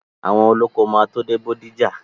Àwọn olóko máa tó dé Bódìjà.